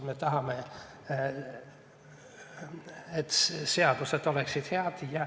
Me tahame, et seadused oleksid head.